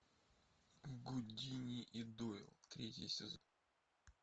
гудини и дойл третий сезон